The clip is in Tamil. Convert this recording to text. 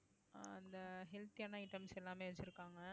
ஆஹ் அந்த healthy யான items எல்லாமே வச்சிருக்காங்க